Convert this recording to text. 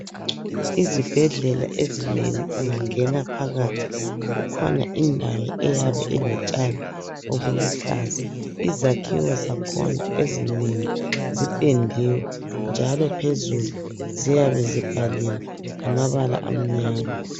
Izibhedlela ezinengi ungangena phakathi, kukhona indawo, eyabe ilotshani obuluhlaza. Izakhiwo zakhona ezinengi zipendiwe, njalo phezulu, ziyabe zibhaliwe, ngamabala amnyama.